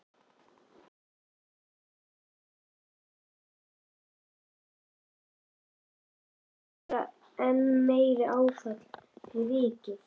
Er þetta ekki bara enn meira áfall fyrir vikið?